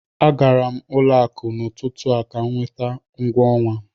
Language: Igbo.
A gara m ụlọ akụ n'ụtụtụ a ka m nweta ụgwọ ọnwa